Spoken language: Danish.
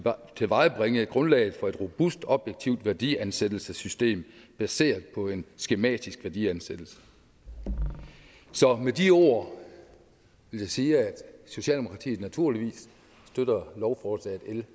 tilvejebringe grundlaget for et robust objektivt værdiansættelsessystem baseret på en skematisk værdiansættelse så med de ord vil jeg sige at socialdemokratiet naturligvis støtter lovforslag l